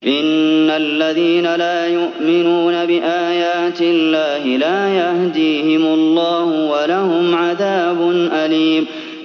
إِنَّ الَّذِينَ لَا يُؤْمِنُونَ بِآيَاتِ اللَّهِ لَا يَهْدِيهِمُ اللَّهُ وَلَهُمْ عَذَابٌ أَلِيمٌ